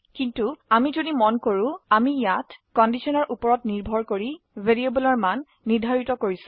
কিন্তু আমি যদি মন কৰো আমি ইয়াা কন্ডিশনৰ উপৰত নিৰ্ভৰ কৰি ভ্যাৰিয়েবলৰ মান নিৰ্ধাৰিত কৰছি